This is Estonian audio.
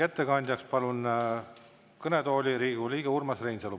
Ettekandjaks palun kõnetooli Riigikogu liikme Urmas Reinsalu.